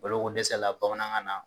Balokodɛsɛ la bamanankan na.